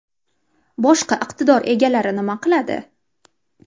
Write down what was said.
Boshqa iqtidor egalari nima qiladi?